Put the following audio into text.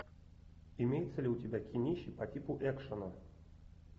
имеется ли у тебя кинище по типу экшена